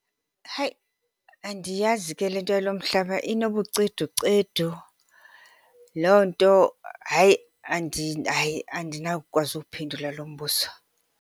Hayi, andiyazi ke le nto yalo mhlaba, inobuceducedu. Loo nto hayi , hayi, andinawukwazi uwuphendula lo mbuzo.